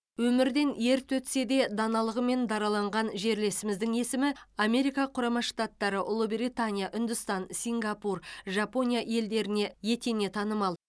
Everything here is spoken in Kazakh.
өмірден ерте өтсе де даналығымен дараланған жерлесіміздің есімі америка құрама штаттары ұлыбритания үндістан сингапур жапонияда елдеріне етене танымал